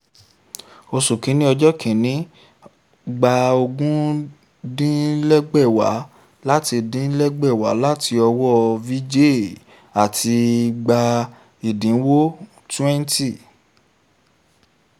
oṣù kìíní ọjọ́ kẹrin: gbà ogún dín lẹ́gbẹ̀wá láti dín lẹ́gbẹ̀wá láti ọwọ́ vijay àti gbà ẹ̀dínwó twenty